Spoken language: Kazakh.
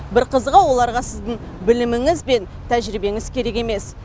бір қызығы оларға сіздің біліміңіз бен тәжірибеңіз керек емес